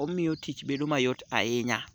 omiyo tich bedo mayot ahinya.